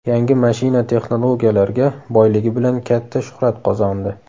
Yangi mashina texnologiyalarga boyligi bilan katta shuhrat qozondi.